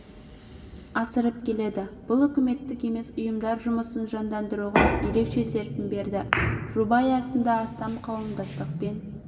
асырып келеді бұл үкіметтік емес ұйымдар жұмысын жандандыруға ерекше серпін берді жоба аясында астам қауымдастықпен